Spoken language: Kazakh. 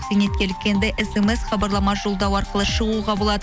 зейнеткерлікке енді смс хабарлама жолдау арқылы шығуға болады